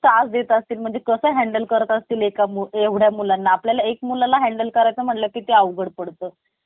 गरजे पेक्षा जास्त बोलू नका. जेव्हा मुलाखत घेनार एखादा प्रश्न तुमच्या महिती असलेल्या गोष्टी विषयी विचारत असतो. तेव्हा तुम्ही त्या प्रश्नाचे उत्तर देऊन पुढे पुन्हा जास्त माहिती देत असतात.